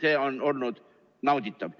See on olnud nauditav.